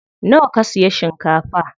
Nawa ka siya shinkafa?